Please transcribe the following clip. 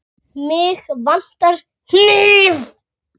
Mig vantar hníf.